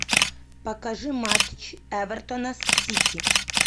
покажи матч эвертона с сити